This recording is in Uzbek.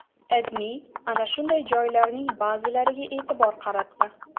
AdMe ana shunday joylarning ba’zilariga e’tibor qaratdi .